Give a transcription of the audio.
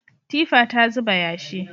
Tifa ta zuba yashi.